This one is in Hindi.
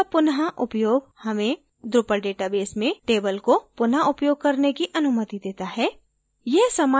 field का पुन: उपयोग हमें drupal database में table को पुन: उपयोग करने की अनुमति देता है